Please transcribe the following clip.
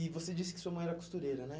E você disse que sua mãe era costureira, né?